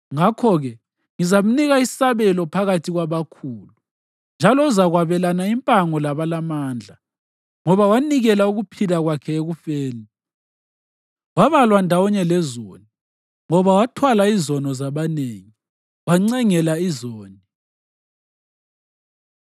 Ngakho-ke ngizamnika isabelo phakathi kwabakhulu, njalo uzakwabelana impango labalamandla ngoba wanikela ukuphila kwakhe ekufeni, wabalwa ndawonye lezoni; ngoba wathwala izono zabanengi, wancengela izoni.